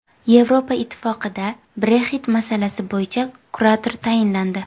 Yevropa Ittifoqida Brexit masalasi bo‘yicha kurator tayinlandi.